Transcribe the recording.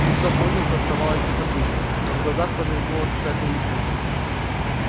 лицо пониетса оставалось неподвижным но в глазах промелькнула какая-то искорка